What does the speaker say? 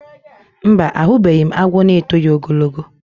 Mba, ahụbeghị m agwọ n'etoghi ogologo